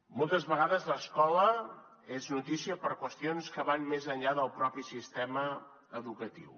moltes vegades l’escola és notícia per qüestions que van més enllà del propi sistema educatiu